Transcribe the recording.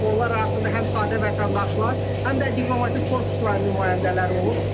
Onlar arasında həm sadə vətəndaşlar, həm də diplomatik korpusun nümayəndələri olub.